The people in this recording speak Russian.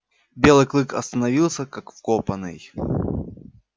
белый клык остановился как вкопанный